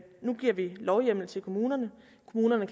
nu giver lovhjemmel til at kommunerne